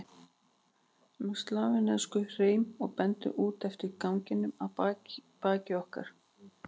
um slavneskum hreim og bendir út eftir ganginum að baki okkur.